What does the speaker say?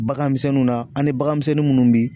Baganmisɛnninw na ani baganmisɛnnin munnu bi